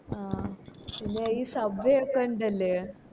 ആഹ് പിന്നെ ഒരു sub way ഒക്ക ഇണ്ടല്ലേ